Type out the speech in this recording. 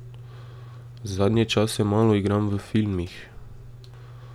Zadnje čase malo igram v filmih.